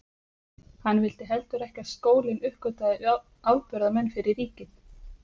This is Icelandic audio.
Hann vildi heldur ekki að skólinn uppgötvaði afburðamenn fyrir ríkið.